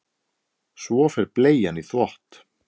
Svo fer bleian í þvott.